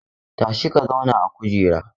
Tashi ka zauna a kujera!